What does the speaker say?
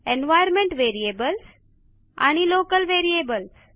environment variables आणि local variables